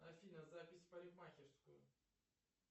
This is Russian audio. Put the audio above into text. афина запись в парикмахерскую